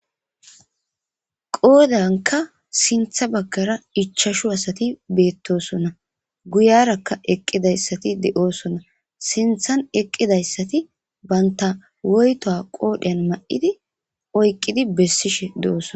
Qoodanka siinththa baggara ichchashu asati beettosonna guyarakka eqqidayssati de'oosonna siinththan eqqidayssati banta woyto qoodheyan ma'idi oyqqidi bessishshe de'oosona